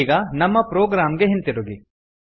ಈಗ ನಮ್ಮ ಪ್ರೊಗ್ರಾಮ್ ಗೆ ಹಿಂತಿರುಗಿ